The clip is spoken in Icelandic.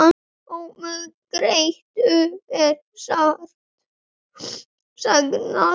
Ömmu Grétu er sárt saknað.